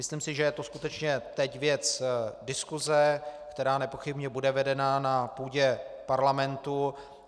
Myslím si, že je to skutečně teď věc diskuse, která nepochybně bude vedena na půdě parlamentu.